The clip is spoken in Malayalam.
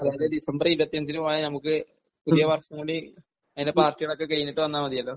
അതായത് ഡിസംബർ ഇരുപത്തിയഞ്ചിന് പോയാൽ നമുക്ക് പുതിയ വർഷം കൂടി അതിന്റെ പാർട്ടികളൊക്കെ കഴിഞ്ഞിട്ട് വന്നാൽ മതിയല്ലോ.